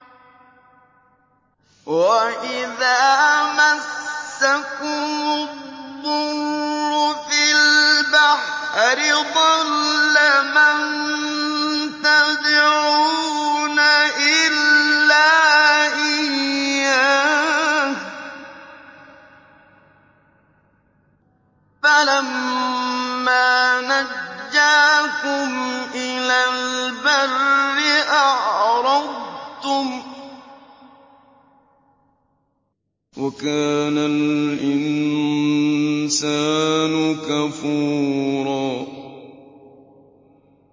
وَإِذَا مَسَّكُمُ الضُّرُّ فِي الْبَحْرِ ضَلَّ مَن تَدْعُونَ إِلَّا إِيَّاهُ ۖ فَلَمَّا نَجَّاكُمْ إِلَى الْبَرِّ أَعْرَضْتُمْ ۚ وَكَانَ الْإِنسَانُ كَفُورًا